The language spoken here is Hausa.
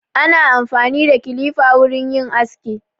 Ana amfani da kilifa wurin yin aski.